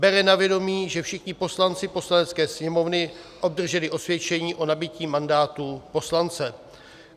bere na vědomí, že všichni poslanci Poslanecké sněmovny obdrželi osvědčení o nabytí mandátu poslance;